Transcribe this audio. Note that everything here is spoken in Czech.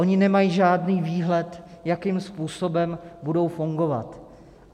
Oni nemají žádný výhled, jakým způsobem budou fungovat.